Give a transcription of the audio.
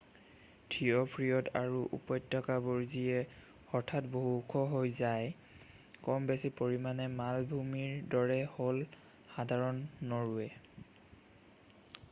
থিয় ফীয়ৰ্ড আৰু উপত্যকাবোৰ যিয়ে হঠাৎ বহু ওখ হৈ যায় কম বেছি পৰিমাণে মালভূমিৰ দৰেই হ'ল সাধাৰণ নৰৱে